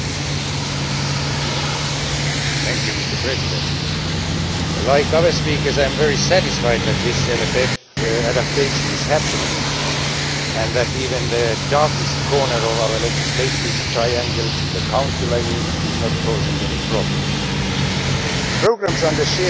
Mr President, like other speakers, I am very satisfied that this MFF adaptation is happening and that even the darkest corner of our legislative triangle the Council, I mean is not causing any problems. Programmes under shared management present a series of difficulties.